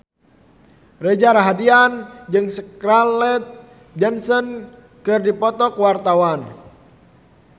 Reza Rahardian jeung Scarlett Johansson keur dipoto ku wartawan